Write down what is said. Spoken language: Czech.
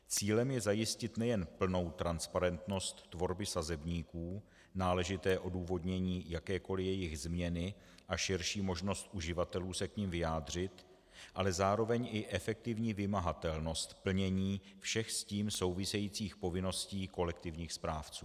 Cílem je zajistit nejen plnou transparentnost tvorby sazebníků, náležité odůvodnění jakékoli její změny a širší možnost uživatelů se k nim vyjádřit, ale zároveň i efektivní vymahatelnost plnění všech s tím souvisejících povinností kolektivních správců.